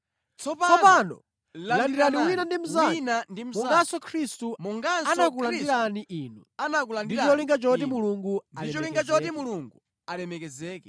Tsopano landiranani wina ndi mnzake, monganso Khristu anakulandirani inu, ndi cholinga choti Mulungu alemekezeke.